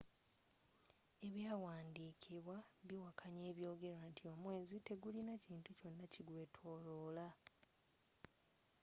ebyawandikibwa biwakanya ebyogerwa nti omwezi tegulina kintu kyona ki gweetooloola